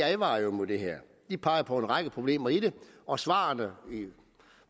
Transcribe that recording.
advarer mod det her de peger på en række problemer i det og svarene